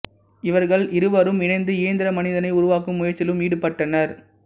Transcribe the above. இவர்கள் இருவரும் இணைந்து இயந்திர மனிதனை உருவாக்கும் முயற்சியிலும் ஈடுபட்டனர்